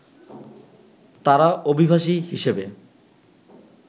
তারা অভিবাসী হিসেবে